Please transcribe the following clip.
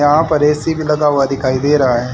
यहां पर ए_सी भी लगा हुआ दिखाई दे रहा है।